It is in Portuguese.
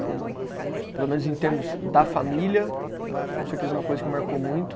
Que pelo menos em termos da família, eh com certeza é uma coisa que me marcou muito.